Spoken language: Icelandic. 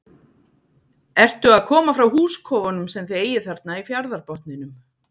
Ertu að koma frá húskofunum sem þið eigið þarna í fjarðarbotninum?